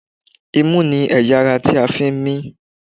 Imú ni ẹ̀yà ara tí a fi ń mí.